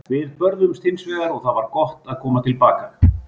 Við börðumst hins vegar og það var gott að koma til baka.